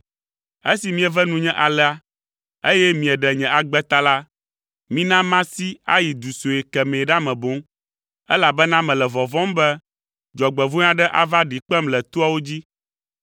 Esi mieve nunye alea, eye mieɖe nye agbe ta la, mina masi ayi du sue kemɛ ɖa me boŋ, elabena mele vɔvɔ̃m be dzɔgbevɔ̃e aɖe ava ɖi kpem le toawo dzi.